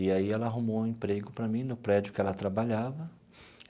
E aí ela arrumou um emprego para mim no prédio que ela trabalhava.